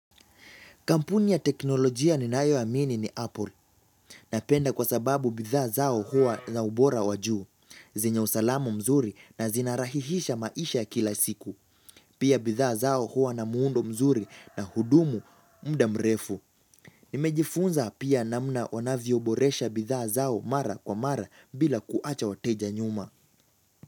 Kampuni ya teknolojia ninayoamini ni Apple. Napenda kwa sababu bidhaa zao hua na ubora wa juu. Zenye usalamu mzuri na zinarahihisha maisha kila siku. Pia bidhaa zao hua na muundo mzuri na hudumu muda mrefu. Nimejifunza pia namna wanavyoboresha bidhaa zao mara kwa mara bila kuacha wateja nyuma.